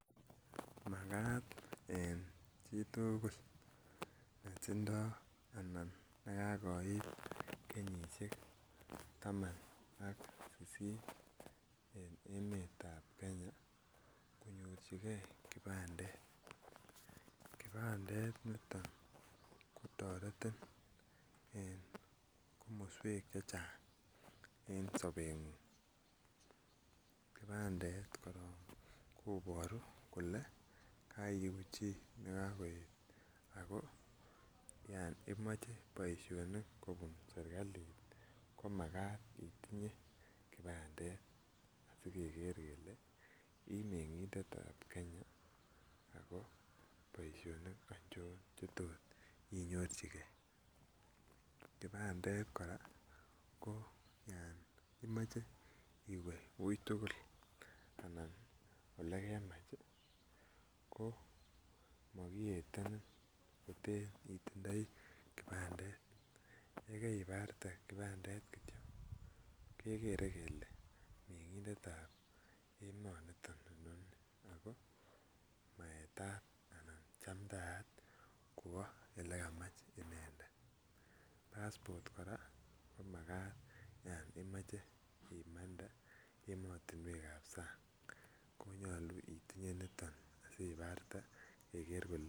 Makat en chi tugul netindo anan ne kakoit kenyisiek taman ak sisit en emetab Kenya konyorjigee kipandet. Kipandet niton kotoretin en komoswek chechang en sobengung kipandet koron kobore korong kole koigu chi ne oo ako imoche boisionik kobun serkalit ko makat otinye kipandet asigeger kele ii mengindetab Kenya ako boisionik achon che tot inyorjigee. Kipandet koraa ko Yan imoche iwee wui tugul anan ele kemach ii ko mokiyetenin koten itindoi kipandet yee kaibarte kipandet kityo kegere kelee mengindetab emoniton inoni ako maetat anan chamtaat kwo ele kamach inendet passport koraa ko makat yon imoche imande emotinwekab sang konyoluu itinye niton asi ibarte keger